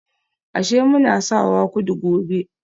Ashe muna sawa kudu gobe